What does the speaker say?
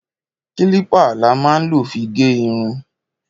Kílìpá lá má ń lọ fi gẹ ìrún.